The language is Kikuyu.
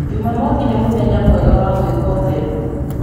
Jumamothi nĩ mũthenya mwega wa gwĩka ũtheru.